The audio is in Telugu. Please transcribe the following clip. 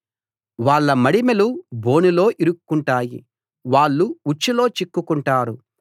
వాళ్ళ మడిమెలు బోనులో ఇరుక్కుంటాయి వాళ్ళు ఉచ్చులో చిక్కుకుంటారు